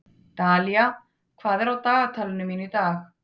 Dalía, hvað er á dagatalinu mínu í dag?